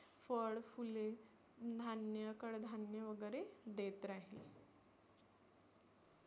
फळ, फुले, धान्य, कडधान्य वगैरे देत राहील.